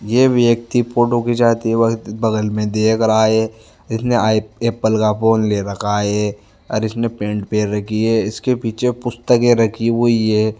ये व्यक्ति फोटो खिचाते वक़्त बगल में देख रहा है इसने आई एप्पल का फ़ोन ले रखा है इसने पेंट पहन रखी है इसके पीछे पुस्तक रखी हुई है।